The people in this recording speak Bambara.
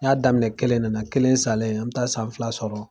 N ɲa daminɛ kelen ne na, kelen salen, an mi taa san fila sɔrɔ